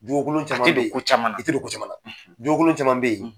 Jogo kolon caman beyi a tƐ don ko caman na i tƐ don ko caman na jogo kolon,